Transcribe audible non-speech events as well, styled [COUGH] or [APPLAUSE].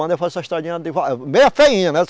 Mandei fazer essa estradinha... [UNINTELLIGIBLE] Meia feinha, né?